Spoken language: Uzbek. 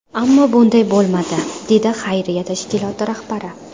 Ammo bunday bo‘lmadi”, dedi xayriya tashkiloti rahbari.